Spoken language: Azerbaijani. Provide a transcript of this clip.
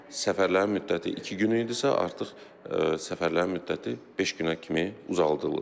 Səfərlərin müddəti iki gün idisə, artıq səfərlərin müddəti beş günə kimi uzadılıb.